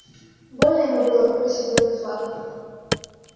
больно ему было выбросить белый флаг